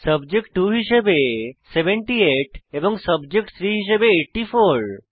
subject 2 হিসাবে 78 এবং subject 3 হিস়াবে 84